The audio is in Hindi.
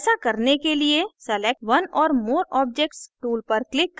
ऐसा करने के लिए select one or more objects tool पर click करें